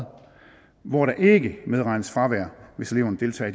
hvor der ikke medregnes fravær hvis eleverne deltager